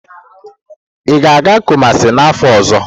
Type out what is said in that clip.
Ị ga-aga Kumasi n'afọ ọzọ?